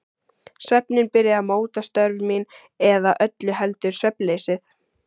Svefninn byrjaði að móta störf mín- eða öllu heldur svefnleysið.